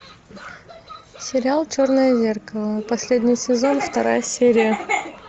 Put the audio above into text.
сериал черное зеркало последний сезон вторая серия